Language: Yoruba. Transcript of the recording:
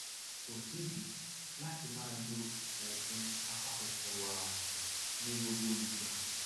kò sídìí láti máa lo oògùn apakòkòrò àrùn ní gbogbo ìgbà